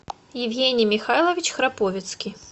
евгений михайлович храповицкий